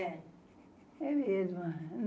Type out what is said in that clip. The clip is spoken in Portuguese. É. É mesmo.